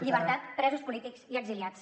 llibertat presos polítics i exiliats